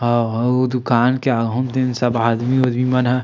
अऊ हउ दुकान के आघू म सब तीन आदमी मन ह।